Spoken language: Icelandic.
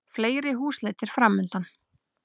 Fleiri húsleitir framundan